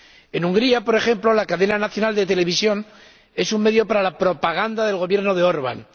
En Hungría, por ejemplo, la cadena nacional de televisión es un medio para la propaganda del Gobierno de Orbán.